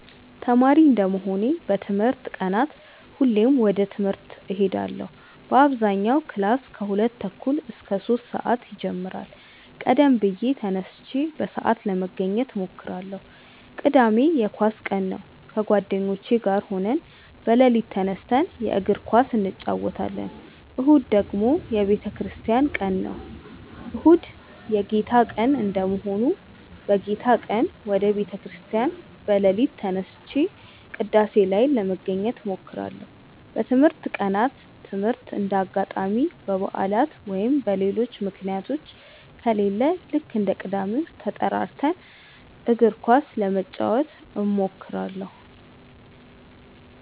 ተማሪ እንደመሆኔ በትምህርት ቀናት ሁሌም ወደ ትምህርት እሄዳለው በአብዛኛው ክላስ ከሁለት ተኩል እስከ ሶስት ሰአት ይጀምራል ቀደም ብዬ ተነስቼ በሰአት ለመገኘት እሞክራለው። ቅዳሜ የኳስ ቀን ነው ከጓደኞቼ ጋር ሆነን በሌሊት ተነስተን የእግር ኳስ እንጨወታለን። እሁድ ደግሞ የቤተክርስቲያን ቀን ነው። እሁድ የጌታ ቀን እንደመሆኑ በጌታ ቀን ወደ ቤተ ክርስቲያን በሌሊት ተነስቼ ቅዳሴ ላይ ለመገኘት እሞክራለው። በትምህርት ቀናት ትምህርት እንደ አጋጣሚ በባዕላት ወይም በሌሎች ምክንያቶች ከሌለ ልክ እንደ ቅዳሜው ተጠራርተን እግር ኳስ ለመጫወት እንሞክራለው።